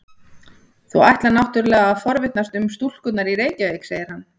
Þú ætlar náttúrlega að forvitnast um stúlkurnar í Reykjavík, segir hann.